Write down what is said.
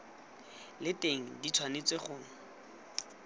le teng di tshwanetse go